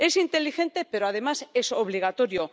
Es inteligente, pero, además, es obligatorio.